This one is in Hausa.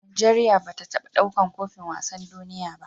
Nigeria bata taba ɗaukar kofin wasan duniya ba